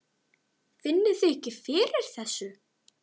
Finnið þið ekki fyrir þessu?